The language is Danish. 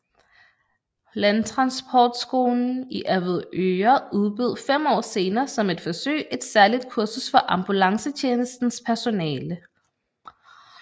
Landtransportskolen i Avedøre udbød fem år senere som et forsøg et særligt kursus for ambulancetjenestens personale